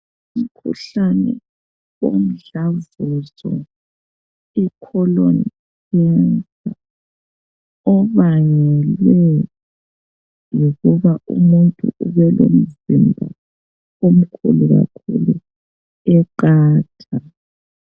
Umkhuhlane womdlavuzo ikholoni khensa obangelwe yikuba umuntu ubelomzimba omkhulu kakhulu eqatha.